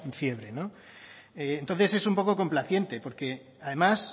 fiebre no entonces es un poco complaciente porque además